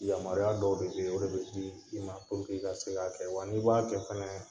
Yamaruya dɔw de be ye, o de be di i ma i ka se k'a kɛ wa n'i b'a kɛ fɛnɛ